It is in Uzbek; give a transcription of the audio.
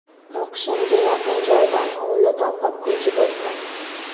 O‘qishimga yaqin joydan hovli topib, ko‘chib o‘tdim.